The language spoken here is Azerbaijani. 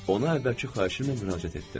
Ona əvvəlki xahişimlə müraciət etdim.